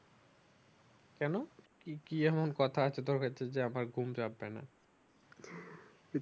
কেনো কি এমন কথা আছে তোর কাছে যে আমার ঘুম চাপবেনা